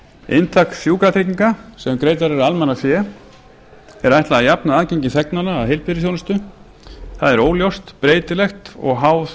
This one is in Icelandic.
inntak sjúkratrygginga sem greitt verður af almannafé er ætlað að jafna aðgengi þegnanna að heilbrigðisþjónustu það er óljóst breytilegt og háð